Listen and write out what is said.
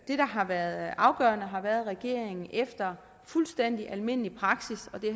har været afgørende har været at regeringen efter fuldstændig almindelig praksis og det